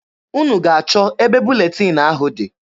Unu ga-achọ ebe buletin ahụ dị.